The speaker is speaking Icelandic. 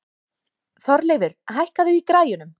Þorleifur, hækkaðu í græjunum.